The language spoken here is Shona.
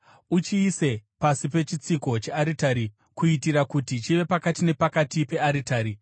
Uchiise pasi pechitsiko chearitari kuitira kuti chive pakati nepakati pearitari.